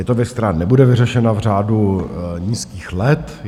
Je to věc, která nebude vyřešena v řádu nízkých let.